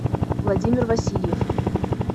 владимир васильев